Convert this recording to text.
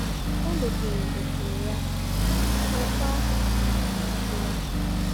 O mepere mepere ya, kụọkwa mmiri dị n’ime ya.